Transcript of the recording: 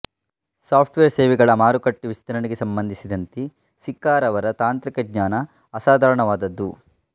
software ಸೇವೆಗಳ ಮಾರುಕಟ್ಟೆ ವಿಸ್ತರಣೆಗೆ ಸಂಬಂಧಿಸಿದಂತೆ ಸಿಕ್ಕಾರವರ ತಾಂತ್ರಿಕ ಜ್ಞಾನ ಅಸಾಧಾರಣವಾದದ್ದು